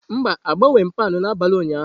Mba, agbanweghị m pound n'abalị ụnyaahụ.